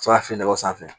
Sɔrɔ ka fini nɔgɔ sanfɛ